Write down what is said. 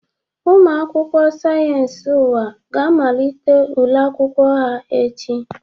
Ụmụ akwụkwọ Sayensi Ụwa ga amalite ule akwụkwọ ha echi.